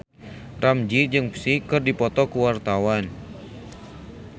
Ramzy jeung Psy keur dipoto ku wartawan